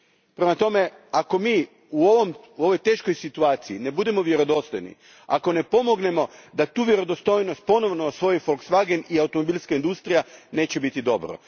Prema tome, ako mi u ovoj teškoj situaciji ne budemo vjerodostojni, ako ne pomognemo da tu vjerodostojnost ponovno osvoji Volkswagen i automobilska industrija, neće biti dobro.